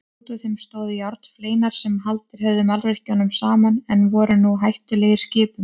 Útúr þeim stóðu járnfleinar sem haldið höfðu mannvirkjunum saman en voru nú hættulegir skipum.